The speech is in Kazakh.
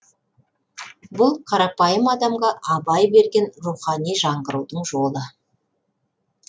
бұл қарапайым адамға абай берген рухани жаңғырудың жолы